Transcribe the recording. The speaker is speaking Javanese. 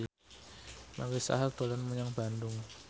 Marisa Haque dolan menyang Bandung